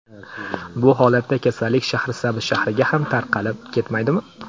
Bu holatda kasallik Shahrisabz shahriga ham tarqalib ketmaydimi?”.